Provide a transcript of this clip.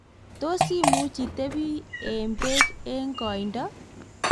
tos imuch itebi eng' beek eng' koindo?